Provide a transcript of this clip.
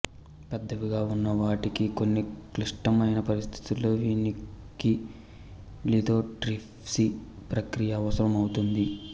పెద్దవిగా ఉన్నవాటికి కొన్ని క్లిష్టమైన పరిస్థితులలో వీనికి లిథోట్రిప్సీ ప్రక్రియ అవసరం అవుతుంది